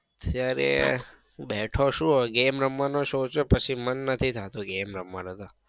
અત્યારે હું બેઠો છું. game રમવાનું સોંચ્યું પાછું મન નથી થા તુ game રમવાનું તો